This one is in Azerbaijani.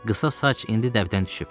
Qısa saç indi dəbdən düşüb.